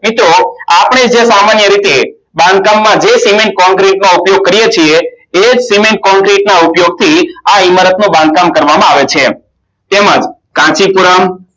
મિત્રો જો આપણે સામાન્ય રીતે બાંધકામમાં ઉપયોગ કરીયે છીએ એ ના ઉપયોગથી આ ઇમારતનું બાંધકામ કરવામાં આવે છે તેમજ કાંચીપુરણ